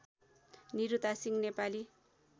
Niruta Singh Nepali